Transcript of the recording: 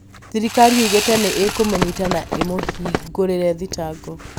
thirikari nĩyugite nĩĩkumũnyiita na ĩmũhingũrĩre thitango